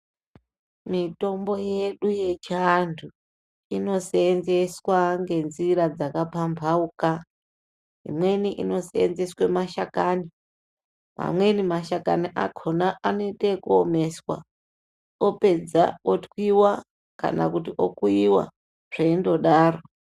Mitombo yedu yechiandu inosevenzeswa ngenzira dzakapambauka imweni inosevenzeswa mashakani pamweni mashakani akona anoita yekuomeswa opedza otwiwa kana okuyiwa zveingodaro.